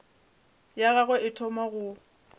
ya gagwe e thoma go